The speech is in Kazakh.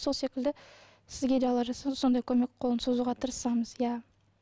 сол секілді сізге де алла жазса сондай көмек қолын созуға тырысамыз иә